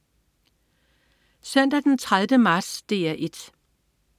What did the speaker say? Søndag den 30. marts - DR 1: